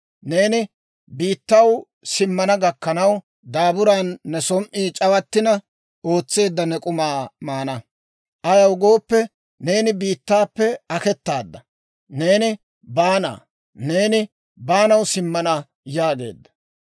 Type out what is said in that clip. Neeni biittaw simmana gakkanaw, daaburan ne som"i c'awattina ootseedda ne k'umaa maana; ayaw gooppe, neeni biittaappe aketaadda; neeni baana; neeni baanaw simmana» yaageedda.